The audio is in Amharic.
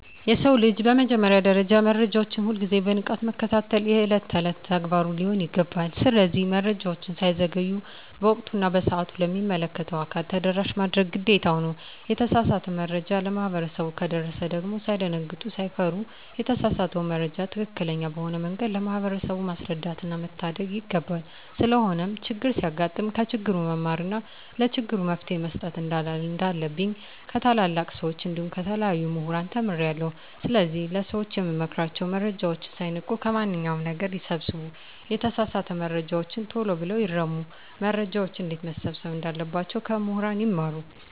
የሰው ልጅ በመጀመሪያ ደረጃ መረጃዎችን ሁል ግዜ በንቃት መከታተል የእለት እለት ተግባሩ ሊሆን ይገባል። ስለዚህ መረጃወች ሳይዘገዩ በወቅቱ እና በሰአቱ ለሚመለከተው አካል ተደራሽ ማድረግ ግዴታ ነው። የተሳሳተ መረጃ ለማህበረሰቡ ከደረሰ ደግም ሳይደነግጡ ሳይፈሩ የተሳሳተውን መረጃ ትክክለኛ በሆነ መንገድ ለማህበረሰቡ ማስረዳትና መታደግ ይገባል። ስለሆነም ቸግር ሲያጋጥም ከችግሩ መማርና ለችግሩ መፈትሄ መስጠት እንንዳለብኝ ከታላላቅ ሰወች እንዲሁም ከተለያዩ ሙህራን ተምሬአለሁ። ስለዚህ ለሰወች የምመክራቸው መረጃወችን ሳይንቁ ከማንኛው ነገር ይሰብስቡ የተሳሳተ መረጃወችን ተሎ ብለው ይርሙ። መረጃወችን እንዴትመሰብሰብ እንዳለባቸው ከሙህራን ይማሩ።